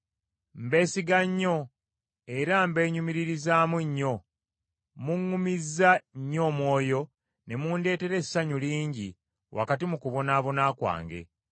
Mbeesiga nnyo, era mbeenyumiririzamu nnyo; muŋŋumizza nnyo omwoyo ne mundeetera essanyu lingi wakati mu kubonaabona kwange.